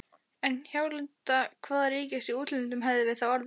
En hjálenda hvaða ríkis í útlöndum hefðum við þá orðið?!